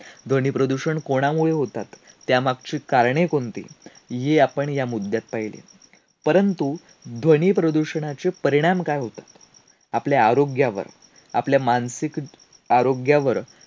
ते देताना तो ग्रंथ प्रेमी मला काकूलतीन सांगत होता, अतिशय काळजीपूर्वक वापरा, दुसऱ्याच्या हाती देऊ नका.